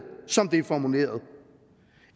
som det er formuleret